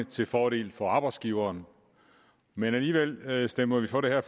til fordel for arbejdsgiveren men alligevel stemmer vi for det her